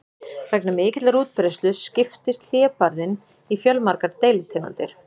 Vegna mikillar útbreiðslu skiptist hlébarðinn í fjölmargar deilitegundir.